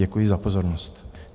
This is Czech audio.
Děkuji za pozornost.